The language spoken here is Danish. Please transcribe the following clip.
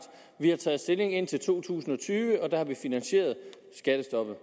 vi har taget stilling indtil to tusind og tyve og der har vi finansieret skattestoppet